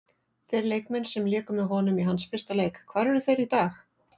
Þeir leikmenn sem léku með honum í hans fyrsta leik, hvar eru þeir í dag?